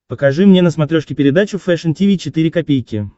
покажи мне на смотрешке передачу фэшн ти ви четыре ка